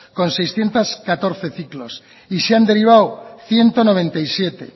con seiscientos catorce ciclos y se han derivado ciento noventa y siete